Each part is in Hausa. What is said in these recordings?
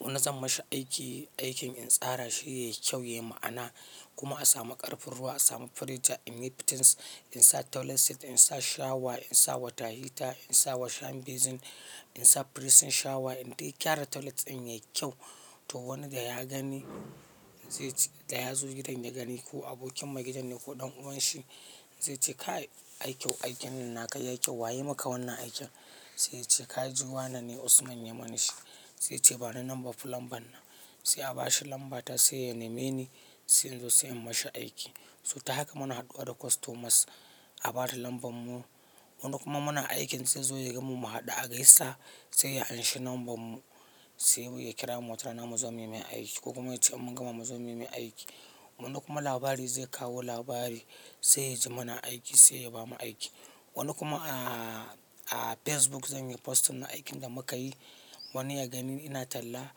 Wani zan mashi aiki, aikin in tsara shi yayi kyau yayi ma'ana kuma a samu ƙarfin ruwa a samu pressure in yi fittings in sa toilet seat in sa shower in sa water heater in sa washing basin in sa pressing shower in dai gyara toilet ɗin yayi kyau to wanda ya gani zai ce da ya zo gidan ya gani ko abokin maigidan ne ko ɗan uwan shi zai ce kai aiki aikin nan naka yayi kyau wa yayi maka wannan aikin? Sai ya ce ka ji wane ne Usman ya mana shi. Sai ya ce bani numban plumbern nan. Sai a bashi lamba ta sai ya neme ni sai in zo sai in mashi aiki. So ta haka muna haɗuwa da customers a bada lamban mu. Wani kuma muna aikin zai zo ya gan mu mu haɗu a gaisa sai ya anshi numban mu sai mui ya kira mu sannan mu zo muyi mai aiki ko kuma ya ce in mun gama mu zo mu yi mai aiki. Wani kuma labari zai kawo labari sai ya ji muna aiki sai ya bamu aiki. Wani kuma a, a Facebook zan yi posting na aikin da muka yi wani ya gani ina talla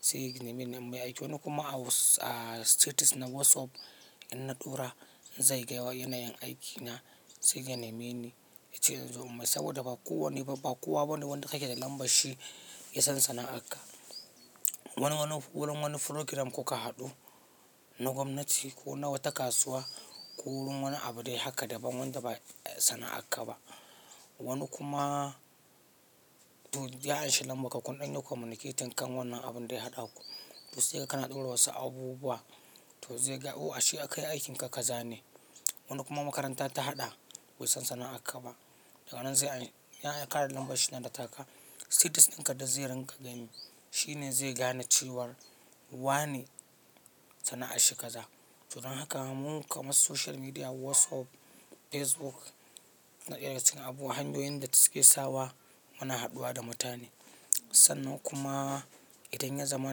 sai ya nemi numbata. Wani kuma a a status na WhatsApp inna tura zai ga wa ina yin aiki na sai ya neme ni. Yace inzo in masa saboda ba kowanne ba ba kowa bane wanda ka ke da lambar shi yasan sana'ar ka. Wani wani wurin wani program kuka haɗu na gwamnati ko na wata kasuwa wurin wani abu dai haka daban wanda bai sana'a haka ba. Wani kuma to ya anshi lambar ka kun ɗan yi communication kan wannan abun daya haɗa ku to sai ka kana ɗora wasu abubuwa to zai ga o ashe aka yi aikin ka ka zane. Wani kuma makaranta ta haɗa bai san sana'ar ka ba daga nan zai an ya ƙara lambar shi nan da taka status ɗin ka da zai ringa gani shine zai gane cewar wa ne sana'ar shi kaza. To don haka mun kamar social media WhatsApp, Facebook na ɗaya cikin abubuwan hanyoyin da suke sawa muna haɗuwa da mutane. Sannan kuma idan ya zama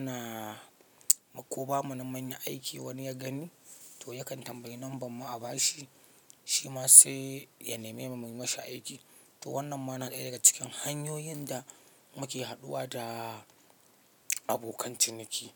na ko ba mu na munyi aiki wani ya gani to yakan tambayi lambar mu a bashi shi ma sai ya neme mu mu yi mashi aiki. To wannan ma na ɗaya daga cikin hanyoyin da muke haɗuwa da abokan ciniki.